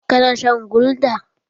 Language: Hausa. Ka na shan gulda?